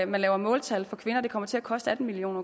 man laver måltal for kvinder kommer til at koste atten million